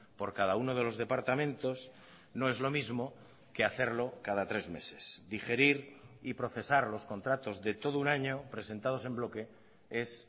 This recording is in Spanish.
por cada uno de los departamentos no es lo mismo que hacerlo cada tres meses digerir y procesar los contratos de todo un año presentados en bloque es